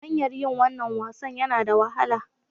Hanyar yin wannan wasan yana da wahala.